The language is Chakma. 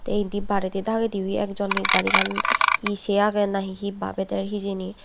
te indi baredi dagedi o he ek jon he garigan he sey aage nahi he babey der hijeni.